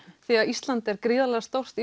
því að Ísland er gríðarlega stórt